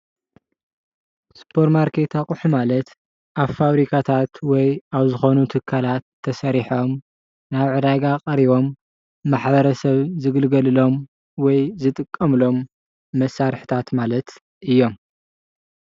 ስፖርማርኬት ኣቁሑት ማለት ኣብ ፋብሪካታት ወይ ኣብ ዝኾኑ ትካላት ተሰሪሖም ናብ ዕዳጋ ቐሪቦም ማሕበረሰብ ዝግልገሉሎም ወይ ዝጥቀምሎም መሳሪሒታት ማለት እዮም።